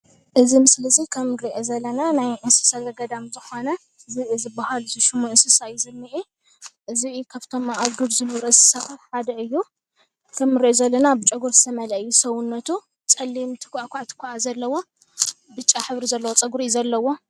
እዚ ምስሊ እዚ ከም ንሪኦ ዘለና ናይ እንስሳ ዘገዳም ዝኾነ ዝብኢ ዝብሃል እንስሳ እዩ ዝንኤ፡፡ ዝብኢ ካፍቶም ኣብ ዱር ዝነብሩ እንስሳታት ሓደ እዩ፡፡ ከም እንሪኦ ዘለና ብጨጉሪ ዝተመልአ እዩ ሰዉነቱ ፀሊም ቱኳዕ ቱኳዕ ዘለዎ ብጫ ሕብሪ ዘለዎ ፀጉሪ እዩ ዘለዎ፡፡